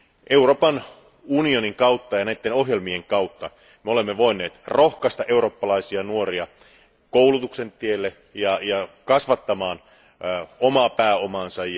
Euroopan unionin ja näiden ohjelmien kautta me olemme voineet rohkaista eurooppalaisia nuoria koulutuksen tielle ja kasvattamaan omaa pääomaansa.